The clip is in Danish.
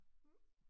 Mhm